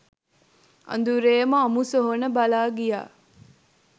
අඳුරේම අමු සොහොන බලා ගියා